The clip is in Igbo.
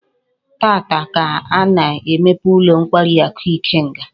Taata ka a na-emepe ulo nkwari aku Ikenga